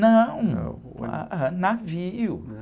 Não, uh, ah, ah, navio.